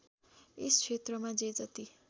यस क्षेत्रमा जे जति